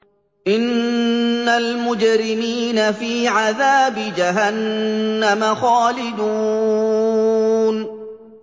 إِنَّ الْمُجْرِمِينَ فِي عَذَابِ جَهَنَّمَ خَالِدُونَ